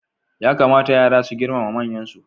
Ya kamata yara su girmama manyansu.